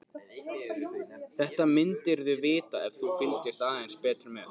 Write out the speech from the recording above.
Þetta myndirðu vita ef þú fylgdist aðeins betur með.